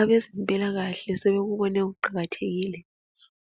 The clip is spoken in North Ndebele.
Abezempilakahle sebekubone kuqakathekile